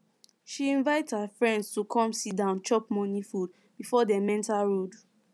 she invite her friends to come sit down chop morning food before them go enter road